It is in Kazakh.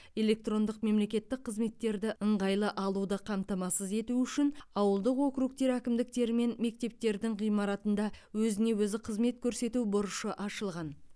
электрондық мемлекеттік қызметтерді ыңғайлы алуды қамтамасыз ету үшін ауылдық округтер әкімдіктері мен мектептердің ғимаратында өзіне өзі қызмет көрсету бұрышы ашылған